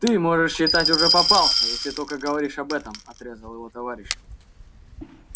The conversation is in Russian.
ты можно считать уже попался если столько говоришь об этом отрезал его товарищ